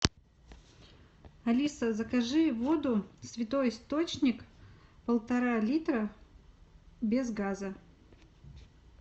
алиса закажи воду святой источник полтора литра без газа